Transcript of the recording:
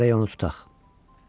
Gərək onu tutaq.